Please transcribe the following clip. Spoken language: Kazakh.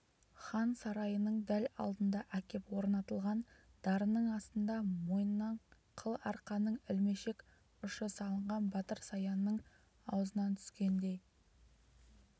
хан сарайының дәл алдына әкеп орнатылған дарының астында мойынына қыл арқанның ілмешек ұшы салынған батыр саянның аузынан түскендей